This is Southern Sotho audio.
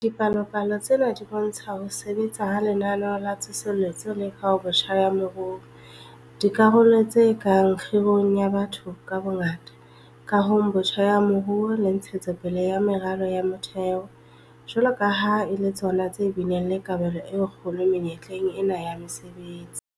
Dipalopalo tsena di bo ntsha ho sebetsa ha Lenaneo la Tsoseletso le Kahobotjha ya Moruo - dikarolong tse kang kgirong ya batho ka bongata, kahong botjha ya moruo le ntshetso pele ya meralo ya motheo - jwalo ka ha e le tsona tse bileng le kabelo e kgolo menyetleng ena ya mesebetsi.